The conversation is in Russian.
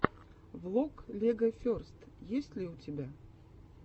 влог легоферст есть ли у тебя